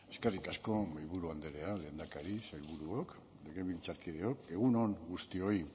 eskerrik asko mahaiburu andrea lehendakari sailburuok legebiltzarkideok egun on guztioi